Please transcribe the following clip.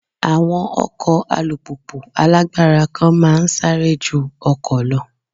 Àwọn ọkọ̀ alùpùpù alágbára kan máa ń sáré ju ọkọ̀ lọ.